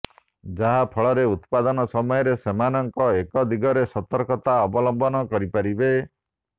ଯାହାଫଳରେ ଉତ୍ପାଦନ ସମୟରେ ସେମାନେ ଏଦିଗରେ ସତର୍କତା ଅବଲମ୍ବନ କରିପାରିବେ